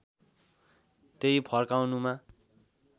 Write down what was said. त्यहीं फर्काउनुमा